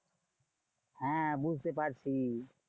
হ্যাঁ বুঝতে পারছি।